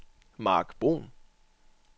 Mark Bruhn